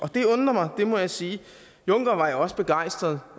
det undrer mig det må jeg sige juncker var jo også begejstret